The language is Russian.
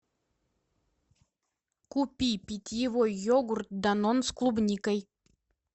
купи питьевой йогурт данон с клубникой